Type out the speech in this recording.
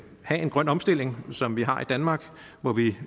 have en grøn omstilling som vi har i danmark hvor vi